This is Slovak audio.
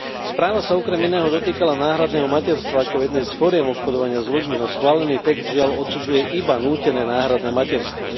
Správa sa okrem iného dotýkala náhradného materstva ako jednej z foriem obchodovania s ľuďmi, no schválený text, žiaľ, odsudzuje iba nútené náhradné materstvo.